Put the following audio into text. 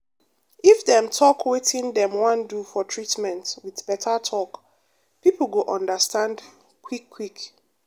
if dem talk wetin dem wan do for treatment with better talk people go understand quick quick.